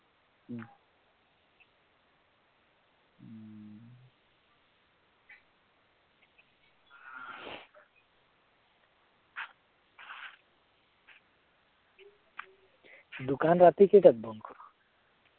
দোকান ৰাতি কেইটাত বন্ধ কৰ?